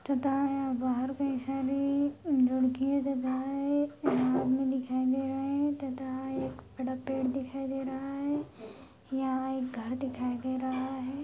तथा यहाँ बाहर कई सारी यहाँ आदमी दिखाई दे रहे है तथा एक बड़ा पेड़ दिखाई दे रहा है यहाँ एक घर दिखाई दे रहा है।